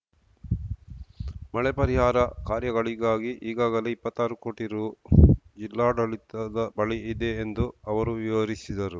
ಮಳೆ ಪರಿಹಾರ ಕಾರ್ಯಗಳಿಗಾಗಿ ಈಗಾಗಲೇ ಇಪ್ಪತ್ತಾರು ಕೋಟಿ ರು ಜಿಲ್ಲಾಡಳಿತದ ಬಳಿ ಇದೆ ಎಂದು ಅವರು ವಿವರಿಸಿದರು